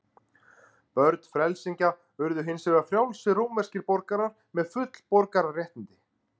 Börn frelsingja urðu hins vegar frjálsir rómverskir borgarar með full borgararéttindi.